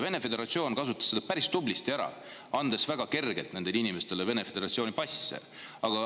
Vene föderatsioon kasutas seda päris hästi ära, andes väga kergelt nendele inimestele Vene föderatsiooni passe.